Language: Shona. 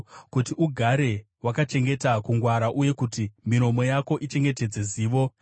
kuti ugare wakachengeta kungwara uye kuti miromo yako ichengetedze zivo.